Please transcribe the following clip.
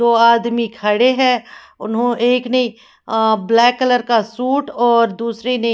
दो आदमी खड़े हैं उन्हो एक नहीं अअ ब्लैक कलर का सूट और दूसरे ने--